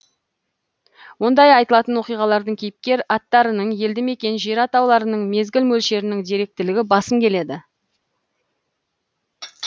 онда айтылатын оқиғалардың кейіпкер аттарының елді мекен жер атауларының мезгіл мөлшерінің деректілігі басым келеді